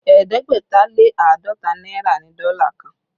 Ẹ̀ẹ́dẹ́gbẹ̀ta lé àádọ́ta náírà ni dọ́là kan